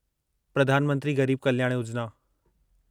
प्रधान मंत्री गरीब कल्याण योजना